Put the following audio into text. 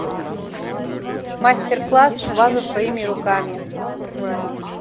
мастер класс ваза своими руками